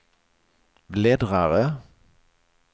bläddrare